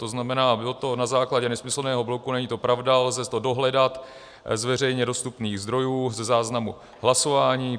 To znamená, bylo to na základě nesmyslného blogu, není to pravda, lze to dohledat z veřejně dostupných zdrojů, ze záznamu hlasování.